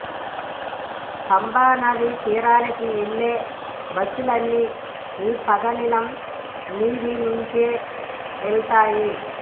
పంబానదీ తీరానికి వెళ్ళే బస్సులన్నీ ఈ పదనిలం మీది నుంచే వెళతాయి